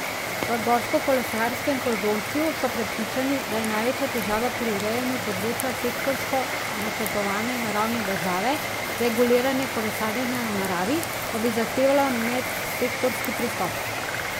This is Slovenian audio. V gorskokolesarskem konzorciju so prepričani, da je največja težava pri urejanju področja sektorsko načrtovanje na ravni države, reguliranje kolesarjenja v naravi pa bi zahtevalo medsektorski pristop.